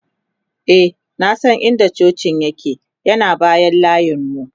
e na San in da cocin yake ,yana bayan layinmu ne